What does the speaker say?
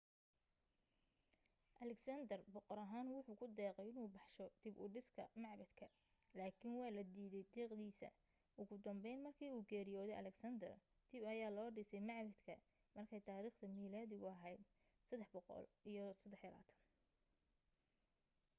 alexander boqor ahaan wuxuu ku deeqay inuu baxsho dib u dhiska macbadka laakiin waa la diidey deeqdiisa ugu dambeyn markii uu geriyoodey alexander dib ayaa loo dhisay macbadka markay taariikhda miilaadigu ahayd323